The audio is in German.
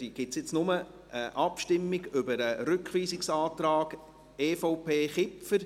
Dann gibt es nur eine Abstimmung über den Rückweisungsantrag EVP/Kipfer.